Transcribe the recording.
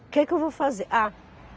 O que que eu vou fazer? Ah